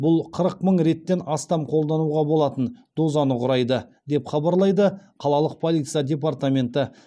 бұл қырық мың реттен астам қолдануға болатын дозаны құрайды деп хабарлайды қалалық полиция департаменті